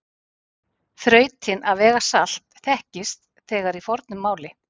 Þrautin að vega salt þekktist þegar í fornu máli.